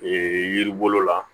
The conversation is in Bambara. Ee yiri bolo la